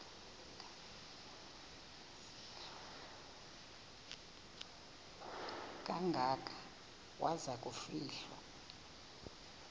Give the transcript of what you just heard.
kangaka waza kufihlwa